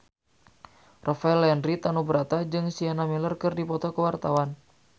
Rafael Landry Tanubrata jeung Sienna Miller keur dipoto ku wartawan